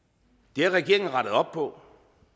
det har regeringen rettet op på